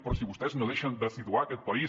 però si vostès no deixen de situar aquest país